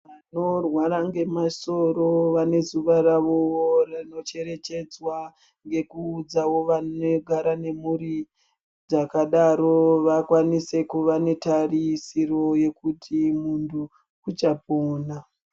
Vanorwara ngemasoro vane zuwa ravo rinocherechedzwa ngekuudzawo vanogara nemhuri dzakadaro vakwanise kuva netarisiro yekuti muntu uchapona.